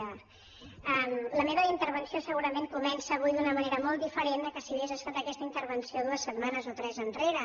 és allà la meva intervenció segurament comença avui d’una manera molt diferent que si hagués estat aquesta intervenció dues setmanes o tres enrere